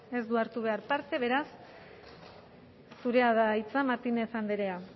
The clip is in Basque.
ez du hartu behar parte beraz zurea da hitza martínez andrea